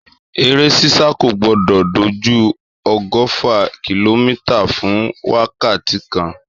Èré sísà kò gbò dò jú ọgọfà kílòmítà fún wàkàtí kán